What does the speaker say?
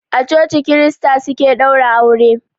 A coci krista suke ɗaura aure.